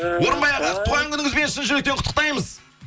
орынбай аға туған күніңізбен шын жүректен құттықтаймыз